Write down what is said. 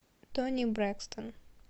тони брэкстон